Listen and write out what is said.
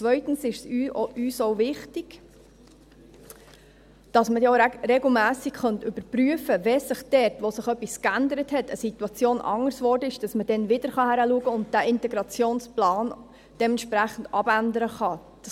Zweitens ist es uns auch wichtig, dass man ja auch regelmässig überprüfen könnte, sodass man dort, wo sich etwas geändert hat, eine Situation anders geworden ist, dann wieder hinschauen und diesen Integrationsplan dementsprechend abändern kann.